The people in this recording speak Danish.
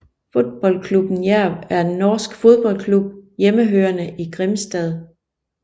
Fotballklubben Jerv er en norsk fodboldklub hjemmehørende i Grimstad